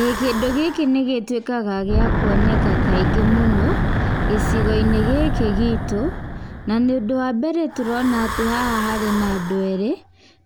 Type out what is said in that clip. Ĩĩ kĩndũ gĩkĩ nĩ gĩtuĩkaga gĩa kuoneka kaingĩ mũno gĩcigo-inĩ gĩkĩ gitũ. Na ũndũ wa mbere tũrona haha harĩ na andũ erĩ